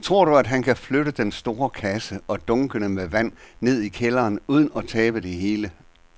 Tror du, at han kan flytte den store kasse og dunkene med vand ned i kælderen uden at tabe det hele?